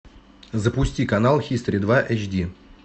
запусти канал хистори два эйч ди